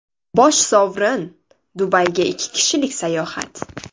Bosh sovrin – Dubayga ikki kishilik sayohat!